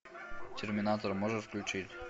терминатор можешь включить